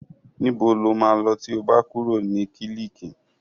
Níbo lo máa lọ tí o bá kúrò ní kílíìkì?